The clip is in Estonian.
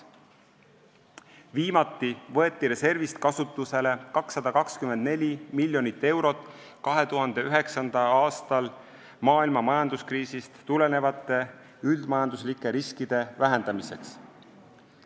Viimati võeti reservist kasutusele 224 miljonit eurot 2009. aastal maailma majanduskriisist tulenenud üldmajanduslike riskide vähendamiseks.